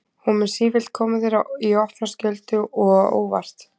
Hún mun sífellt koma þér í opna skjöldu og á óvart.